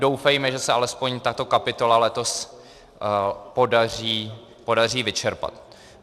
Doufejme, že se alespoň tato kapitola letos podaří vyčerpat.